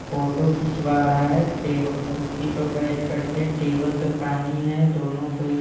photo खींचवा रहा है टेबल कुर्सी पर बैठ कर के टेबल पर पानी है दोनों को--